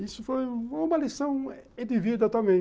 Isso foi uma lição de vida também.